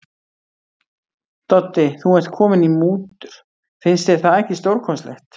Doddi, þú ert kominn í mútur, finnst þér það ekki stórkostlegt.